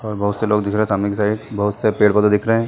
और बहोत से लोग दिख रहे है सामने की साइड बहोत से पेड़- पौधे दिख रहे हैं ।